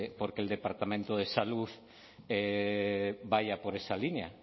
porque el departamento de salud vaya por esa línea